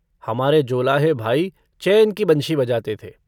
हमारे जोलाहे भाई चैन की बंशी बजाते थे।